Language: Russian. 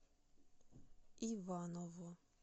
иваново